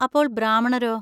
അപ്പോൾ ബ്രാഹ്മണരോ?